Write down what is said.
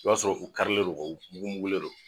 I b'a sɔrɔ u karilen don, wa u mugun mugunlen don